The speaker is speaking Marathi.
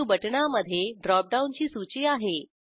न्यू बटणामधे ड्रॉप डाऊनची सूची आहे